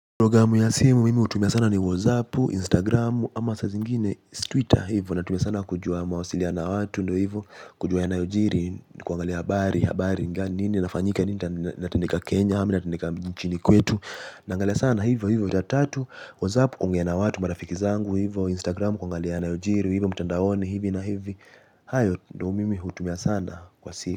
Programu za simu ninazotumia sana ni WhatsApp, Instagram au wakati mwingine Twitter. Hivyo, ninazitumia sana kwa mawasiliano na watu, na pia kujua yanayojiri, kuangalia habari na kujua nini kinafanyika na nini kinatendeka nchini Kenya na mjini kwetu. Naangalia sana hivyo vitu vitatu. WhatsApp kwa kuwasiliana na watu na marafiki zangu, Instagram kwa kuangalia yanayojiri mtandaoni, hivyo hivyo ndivyo ninavyotumia sana kwenye simu.